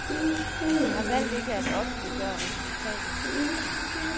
De har valgt ikke at offentliggøre resultatet.